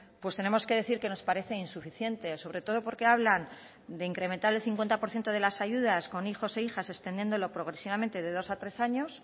pues tenemos que decir que nos parece insuficiente sobre todo porque hablan de incrementar el cincuenta por ciento de las ayudas con hijos e hijas extendiéndolo progresivamente de dos a tres años